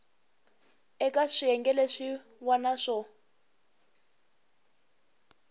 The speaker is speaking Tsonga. eka swiyenge leswin wana swo